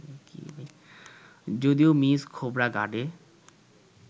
যদিও মিস খোবরাগাডে